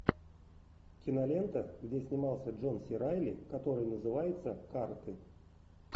кинолента где снимался джон си райли который называется карты